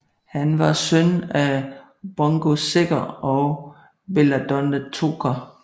Han var søn af Bungo Sækker og Belladonna Toker